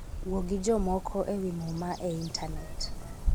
Wuo gi jomoko e wi Muma e Intanet